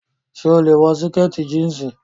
So lè wọ sìkẹ̀tì jíǹsì.